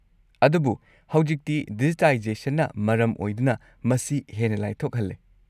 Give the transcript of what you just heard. -ꯑꯗꯨꯕꯨ ꯍꯧꯖꯤꯛꯇꯤ ꯗꯤꯖꯤꯇꯥꯏꯖꯦꯁꯟꯅ ꯃꯔꯝ ꯑꯣꯏꯗꯨꯅ, ꯃꯁꯤ ꯍꯦꯟꯅ ꯂꯥꯏꯊꯣꯛꯍꯜꯂꯦ꯫